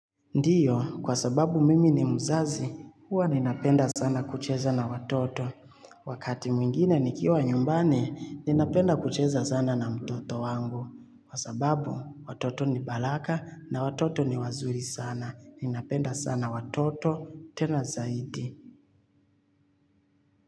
Ndiyo, kwa sababu mimi ni mzazi, huwa ninapenda sana kucheza na watoto. Wakati mwingine nikiwa nyumbani, ninapenda kucheza sana na mtoto wangu. Kwa sababu, watoto ni baraka na watoto ni wazuri sana. Ninapenda sana watoto, tena zaidi.